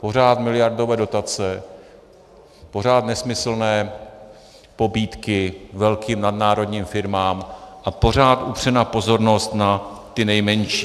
Pořád miliardové dotace, pořád nesmyslné pobídky velkým nadnárodním firmám a pořád upřená pozornost na ty nejmenší.